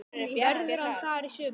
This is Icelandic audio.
Verður hann þar í sumar?